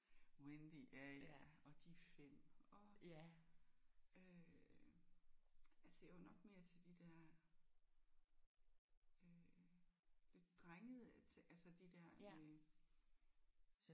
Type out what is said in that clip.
Wendy? Ja ja og De 5 og øh altså jeg var nok mere til de der øh lidt drengede altså de der med øh